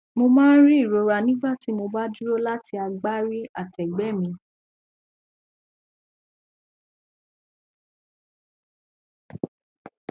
mo máa ń rí ìrora nígbà tí mo bá dúró láti agbárí àtẹgbẹ mi